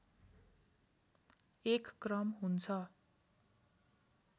एक क्रम हुन्छ